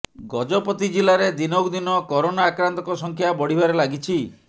ଗଜପତି ଜିଲ୍ଲାରେ ଦିନକୁ ଦିନ କରୋନା ଆକ୍ରାନ୍ତଙ୍କ ସଂଖ୍ୟା ବଢିବାରେ ଲାଗିଛି